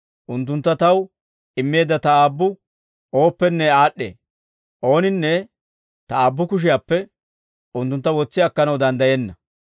Unttuntta Taw immeedda Ta Aabbu ooppenne aad'd'ee; ooninne Ta Aabbu kushiyaappe unttuntta wotsi akkanaw danddayenna.